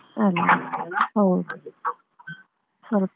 ಅದೆ ಹೌದು ಸ್ವಲ್ಪ.